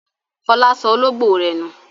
Fọlá sọ olóńgbò rẹ̀ nù.